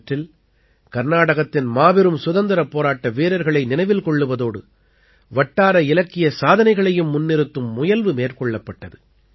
இவற்றில் கர்நாடகத்தின் மாபெரும் சுதந்திரப் போராட்ட வீரர்களை நினைவில் கொள்ளுவதோடு வட்டார இலக்கிய சாதனைகளையும் முன்னிறுத்தும் முயல்வு மேற்கொள்ளப்பட்டது